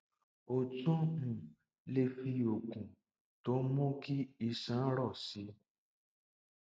o tún um lè fi oògùn tó ń mú kí iṣan rọ sí um i